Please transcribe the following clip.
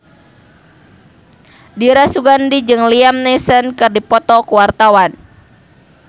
Dira Sugandi jeung Liam Neeson keur dipoto ku wartawan